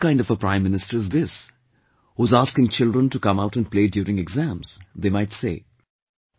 "What kind of a Prime Minister is this, who is asking children to come out and play during exams," they might say